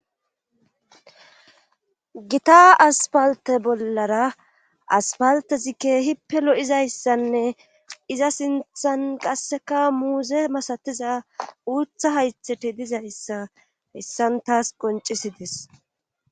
gita aspalte bollara aspalte zikke hippe lo7izayssanne iza sinthan qasseka muuze masatiza uutha haythete dizayssa hessan taas qoncisides